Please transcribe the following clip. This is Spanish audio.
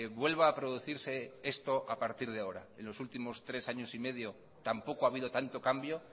vuelva a producirse esto a partir de ahora en los últimos tres años y medio tampoco ha habido tanto cambio